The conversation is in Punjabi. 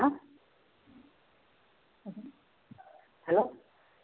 hello